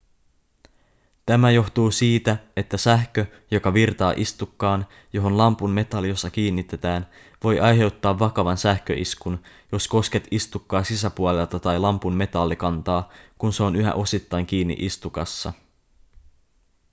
tämä johtuu siitä että sähkö joka virtaa istukkaan johon lampun metalliosa kiinnitetään voi aiheuttaa vakavan sähköiskun jos kosket istukkaa sisäpuolelta tai lampun metallikantaa kun se on yhä osittain kiinni istukassa